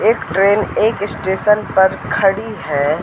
एक ट्रेन एक स्टेशन पर खड़ी है।